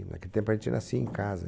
E naquele tempo, a gente nascia em casa.